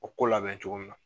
O ko labɛn cogo min na